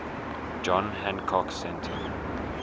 john hancock center